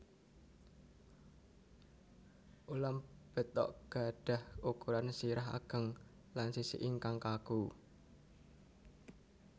Ulam betok gadhah ukuran sirah ageng lan sisik ingkang kaku